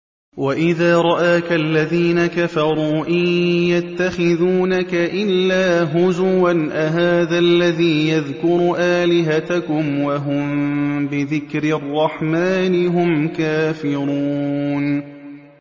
وَإِذَا رَآكَ الَّذِينَ كَفَرُوا إِن يَتَّخِذُونَكَ إِلَّا هُزُوًا أَهَٰذَا الَّذِي يَذْكُرُ آلِهَتَكُمْ وَهُم بِذِكْرِ الرَّحْمَٰنِ هُمْ كَافِرُونَ